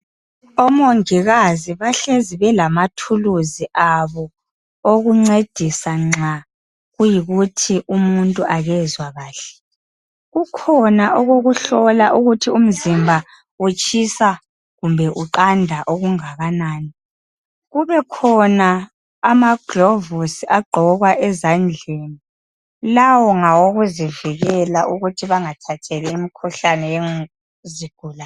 Omongikazi bahlezi belamathuluzi abo. Okuncedisa nxa kuyikuthi umuntu akezwa kahle. Kukhona okokuhlola ukuthi umzimba utshisa kumbe uqanda okungakanani. Kubekhona amaglovusi agqokwa ezandleni. Lawo ngawokuzivikela ukuthi bangathatheli imikhuhlane yezigulane.